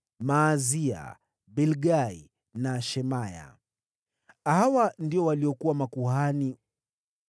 Maazia, Bilgai na Shemaya. Hawa ndio waliokuwa makuhani.